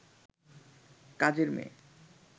কাজের মেয়ে